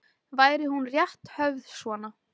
Væri hún rétt höfð svona